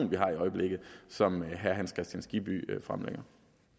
vi har i øjeblikket som herre hans kristian skibby fremlægger